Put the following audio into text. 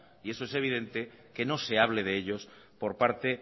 y eso es evidente que no se hable de ellos por parte